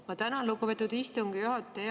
Ma tänan, lugupeetud istungi juhataja!